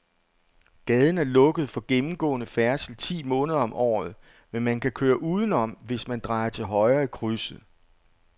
Gaden er lukket for gennemgående færdsel ti måneder om året, men man kan køre udenom, hvis man drejer til højre i krydset.